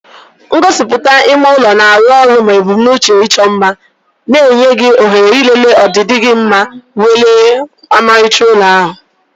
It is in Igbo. Ngosipụta ime ụlọ na-arụ ọrụ ma ebumnuche ịchọ mma, na-enye gị ohere ịlele ọdịdị gị ma welie ọmarịcha ụlọ ahụ.